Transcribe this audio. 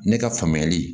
Ne ka faamuyali